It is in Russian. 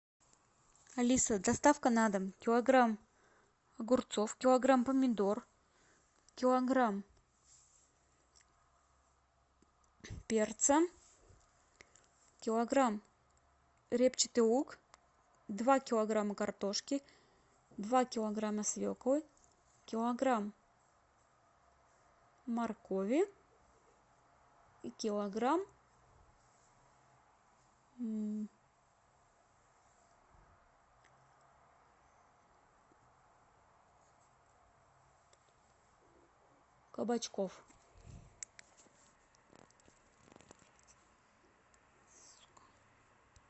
алиса доставка на дом килограмм огурцов килограмм помидор килограмм перца килограмм репчатый лук два килограмма картошки два килограмма свеклы килограмм моркови и килограмм кабачков